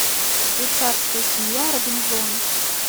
швейцарская семья робинзонов